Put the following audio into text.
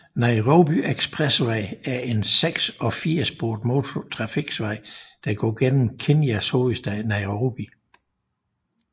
Nairobi Expressway er en seks og fire sporet motortrafikvej der går igennem Kenyas hovedstad Nairobi